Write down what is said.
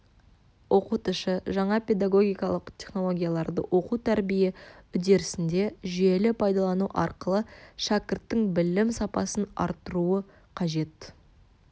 оқытушы жаңа педагогикалық технологияларды оқу тәрбие үдерісінде жүйелі пайдалану арқылы шәкірттің білім сапасын арттыруы қажет